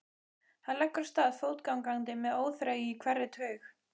Hann leggur af stað fótgangandi með óþreyju í hverri taug.